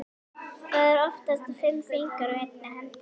Það eru oftast fimm fingur á einni hendi.